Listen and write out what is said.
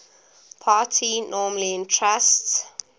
party normally entrusts